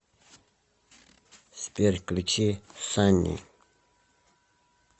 сбер включи санни